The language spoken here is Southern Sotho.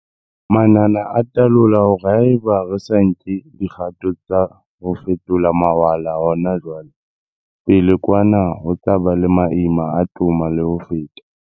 Manane a talola hore haeba re sa nke dikgato tsa ho fetola mawala hona jwale, pele kwa na ho tla ba le maima a toma le ho feta.